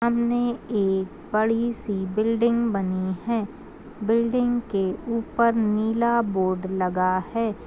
सामने एक बड़ी सी बिल्डिंग बनी है बिल्डिंग के ऊपर नीला बोर्ड लगा है।